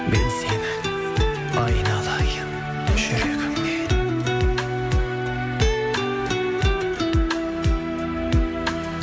мен сенің айналайын жүрегіммен